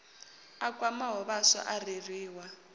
a kwamaho vhaswa a reriwa